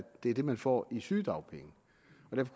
det er det man får i sygedagpenge